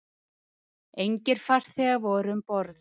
Engir farþegar voru um borð